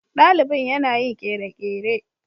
Dalibin yana yin kere-kere.